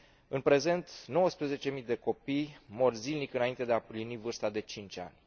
În prezent, 19 mii de copii mor zilnic, înainte de a împlini vârsta de 5 ani.